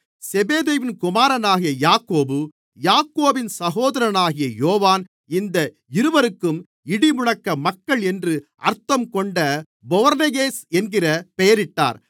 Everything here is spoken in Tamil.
செபெதேயுவின் குமாரனாகிய யாக்கோபு யாக்கோபின் சகோதரனாகிய யோவான் இந்த இவருக்கும் இடிமுழக்க மக்கள் என்று அர்த்தம்கொண்ட பொவனெர்கேஸ் என்கிற பெயரிட்டார்